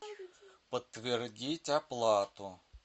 подтвердить оплату